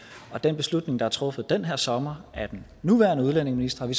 og den beslutning der er truffet den her sommer af den nuværende udlændingeminister har